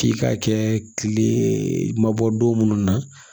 K'i ka kɛ kile ma bɔ don mun na